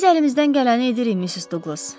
Biz əlimizdən gələni edirik Missis Duqlas.